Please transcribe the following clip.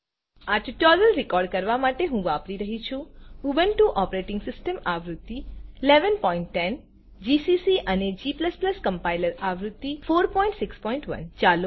આ tutorial record કરવાં માટે હું વાપરી રહ્યી છું ઉબુન્ટુ ઓપરેટીંગ સીસ્ટમ આવૃત્તિ ૧૧૧૦ જીસીસી અને g કમ્પાઈલર આવૃત્તિ ૪૬૧